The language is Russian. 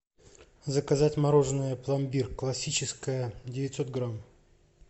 заказать мороженое пломбир классическое девятьсот грамм